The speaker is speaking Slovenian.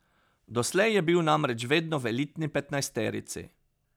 Doslej je bil namreč vedno v elitni petnajsterici.